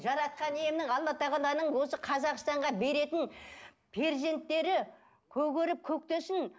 жаратқан иемнің алла тағаланың осы қазақстанға беретін перзенттері көгеріп көктесін